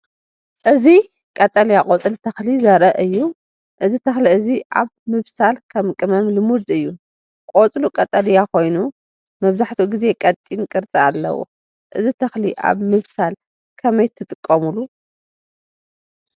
እዚ ቀጠልያ ቆጽሊ ተኽሊ ዘርኢ እዩ። እዚ ተኽሊ እዚ ኣብ ምብሳል ከም ቅመም ልሙድ እዩ። ቆጽሉ ቀጠልያ ኮይኑ መብዛሕትኡ ግዜ ቀጢን ቅርጺ ኣለዎ። እዚ ተክሊ ኣብ ምብሳል ብከመይ ትጥቀምሉ?